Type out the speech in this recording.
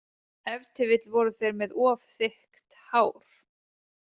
Ef til vill voru þeir með of þykkt hár.